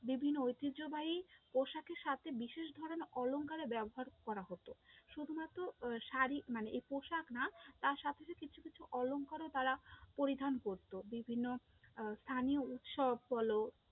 বিভিন্ন ঐতিহ্যবাহী পোশাকের সাথে বিশেষ ধরণের অলংকারে ব্যবহার করা হতো, শুধুমাত্র আহ শাড়ি মানে আই পোশাক না, তার সাথে সাথে কিছু কিছু অলংকারও তারা পরিধান করতো, বিভিন্ন আহ স্থানীয় উৎসব বলো